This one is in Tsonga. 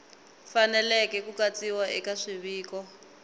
faneleke ku katsiwa eka swiviko